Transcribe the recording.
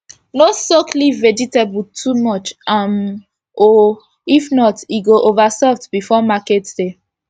no soak leaf vegetable too much um o if not e go over soft before market day